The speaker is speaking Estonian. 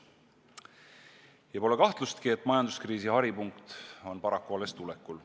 Ja pole kahtlustki, et majanduskriisi haripunkt on paraku alles tulekul.